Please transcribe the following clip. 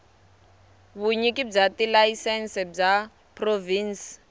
vunyiki bya tilayisense bya provhinsi